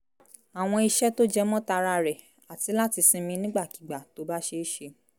àwọn iṣẹ́ tó jẹmọ́ tara rẹ̀ àti láti sinmi nígbàkigbà tó bá ṣeé ṣe